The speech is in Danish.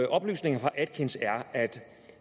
oplæsning